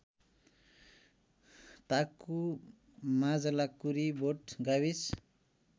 ताकुमाझलाकुरिबोट गाविस